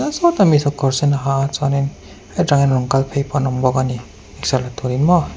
sawta mi saw kawr sen a ha a chuanin heta tangin rawn kal phei awm bawk a ni exer la turin maw.